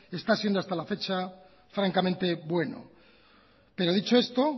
está siendo hasta la fecha francamente bueno pero dicho esto